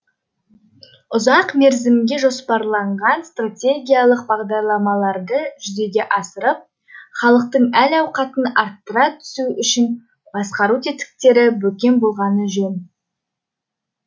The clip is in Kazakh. ұзақ мерзімге жоспарланған стратегиялық бағдарламаларды жүзеге асырып халықтың әл ауқатын арттыра түсу үшін басқару тетіктері бекем болғаны жөн